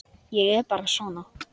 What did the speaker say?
Ég er bara svona.